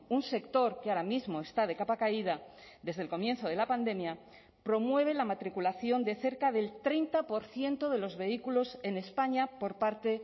un sector que ahora mismo está de capa caída desde el comienzo de la pandemia promueve la matriculación de cerca del treinta por ciento de los vehículos en españa por parte